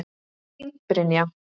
Þín, Brynja.